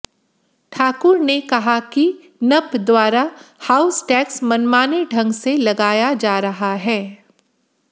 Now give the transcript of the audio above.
ठाकुर ने कहा कि नप द्वारा हाउस टैक्स मनमाने ढंग से लगाया जा रहा है